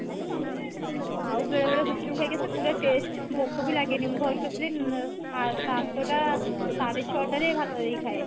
ଆଉ ବେଳେ ବେଳେ ଗୁପ୍ଚୁପ ଖାଇକି ଆସୁ ପୁରା taste ଭୋକ ବି ଲାଗେନି ମୁଁ ଘରକୁ ଆସିଲେ ସା ସା ସାତଟା ସାଡେ ଛଟା ରେ ଭାତ ଯାଇ ଖାଏ